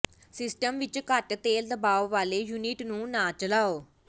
system ਵਿੱਚ ਘੱਟ ਤੇਲ ਦਬਾਅ ਵਾਲੇ ਯੂਨਿਟ ਨੂੰ ਨਾ ਚਲਾਓ